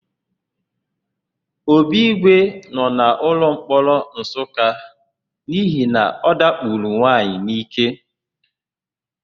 Obigwe nọ n'ụlọmkpọrọ Nsụka n'ihi na ọ dakporo nwaanyị n'íké.